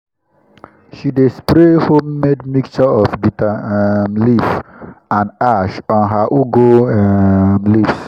she dey spray homemade mixture of bitter um leaf and ash on her ugu um leaves.